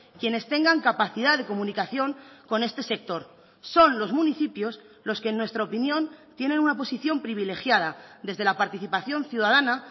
quienes tengan capacidad de comunicación con este sector son los municipios los que en nuestra opinión tienen una posición privilegiada desde la participación ciudadana